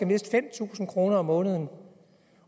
miste fem tusind kroner om måneden